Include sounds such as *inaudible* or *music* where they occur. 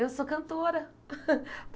Eu sou cantora. *laughs*